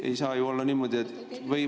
Ei saa ju olla niimoodi, et …